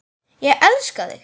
Ég elska þig!